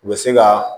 U bɛ se ka